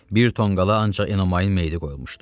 Bir tonqala ancaq Enomayın meyiti qoyulmuşdu.